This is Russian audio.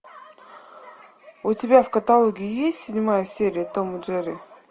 у тебя в каталоге есть седьмая серия том и джерри